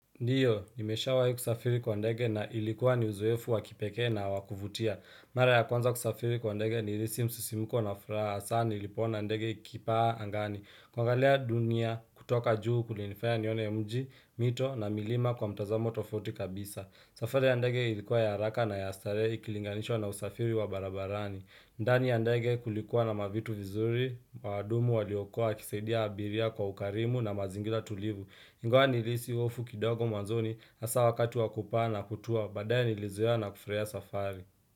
Ndiyo, nimesha wai kusafiri kwa ndege na ilikuwa ni uzoefu wakipekee na wakuvutia. Mara ya kwanza kusafiri kwa ndege nilihisi msusimuko na furaha hasa nilipoona ndege ikipaa angani. Kwa angalia dunia kutoka juu kulinifanya nione mji, mito na milima kwa mtazamo tofauti kabisa. Safari ya ndege ilikuwa ya haraka na ya starehe ikilinganishwa na usafiri wa barabarani. Ndani ya ndege kulikuwa na mavitu vizuri, waadumu waliokua wakisaidia abiria kwa ukarimu na mazingira tulivu. Ingawa nilihisi hofu kidogo mwanzoni hasa wakati wakupaa na kutua baadaye nilizoea na kufurahia safari.